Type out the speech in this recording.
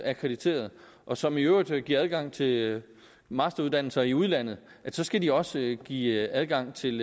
akkrediteret og som i øvrigt giver adgang til masteruddannelser i udlandet så skal de også give adgang til